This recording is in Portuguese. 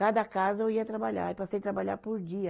Cada casa eu ia trabalhar, aí passei trabalhar por dia.